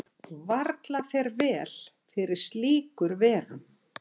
Varla fer vel fyrir slíkur verum.